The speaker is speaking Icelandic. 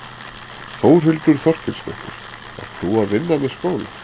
Þórhildur Þorkelsdóttir: Ert þú að vinna með skóla?